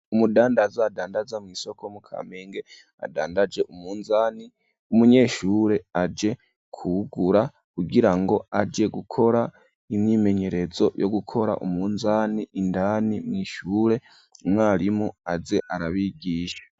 Umudandaza adandaza mu isoko mu Kamenge adandaje umunzani umunyeshure aje kugura kugira ngo aje gukora imyimenyerezo yo gukora umunzani indani mw'ishure umwarimu aze arabigisha.